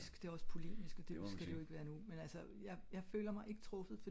det er ogs polemisk og det skal det ik være nu men altså jeg føler mig ikke truffet